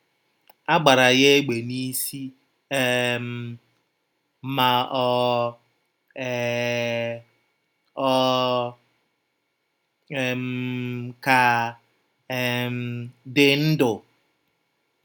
A gbara ya égbè n’isi um, ma ọ um ọ um ka um dị ndụ!